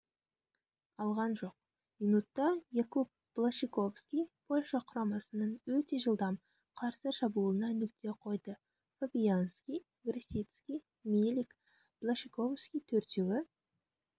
алған жоқ минутта якуб блащиковски польша құрамасының өте жылдам қарсы шабуылына нүкте қойды фабианьски-гросицки-милик-блащиковски төртеуі